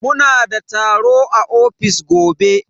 Muna da taro a ofis gobe.